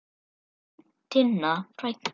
Þín Tinna frænka.